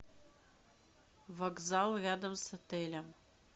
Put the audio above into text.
вокзал рядом с отелем